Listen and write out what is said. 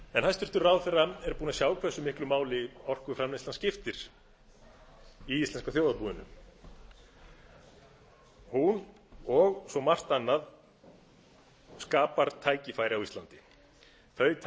en hæstvirtur ráðherra er búinn að sjá hversu miklu máli orkuframleiðslan skiptir í íslenska þjóðarbúinu hún og svo margt annað skapar tækifæri á íslandi þau